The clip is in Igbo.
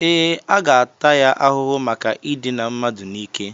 Ee, a ga-ata ya ahụhụ maka idina mmadụ n'ike